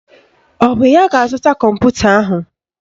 Ọ bụ ya ga-azụta kọmputa ahụ?